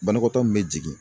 Banakɔtɔ min be jigin